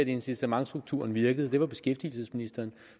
incitamentstrukturen i starthjælpen virkelig var